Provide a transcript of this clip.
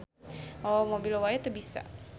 Mawa mobil wae teu bisa.